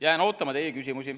Jään ootama teie küsimusi.